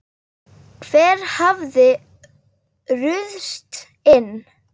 Hver hafði ruðst inn?